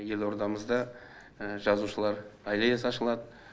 елордамызда жазушылар аллеясы ашылады